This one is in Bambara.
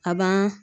A ban